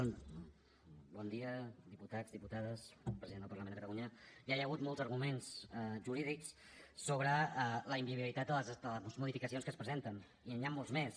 bon dia diputats diputades president del parlament de catalunya ja hi ha hagut molts arguments jurídics sobre la inviabilitat de les modificacions que es presenten i n’hi han molts més